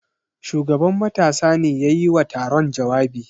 Shugaban matasa ne ya yi wa taron jawabi.